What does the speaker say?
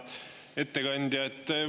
Hea ettekandja!